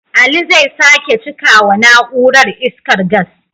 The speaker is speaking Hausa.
Ali zai sake cika wa na'urar, iskar gas.